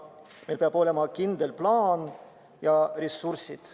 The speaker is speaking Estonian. Meil peavad olema kindel plaan ja ressursid.